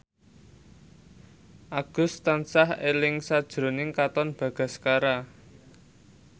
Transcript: Agus tansah eling sakjroning Katon Bagaskara